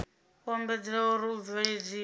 u ombedzelwa uri u bveledziswa